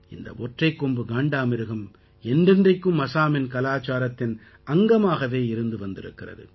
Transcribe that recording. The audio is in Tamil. இந்த ஒற்றைக் கொம்பு காண்டாமிருகம் என்றென்றைக்கும் அசாமின் கலாச்சாரத்தின் அங்கமாகவே இருந்து வந்திருக்கிறது